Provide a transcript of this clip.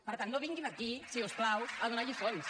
per tant no vinguin aquí si us plau a donar lliçons